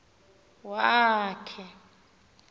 wa l khe